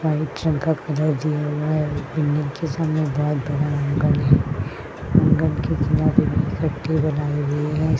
White रंग का colour दिया हुआ है। बिल्डिंग के सामने बोहोत बड़ा एंगल है।